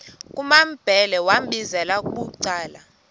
kumambhele wambizela bucala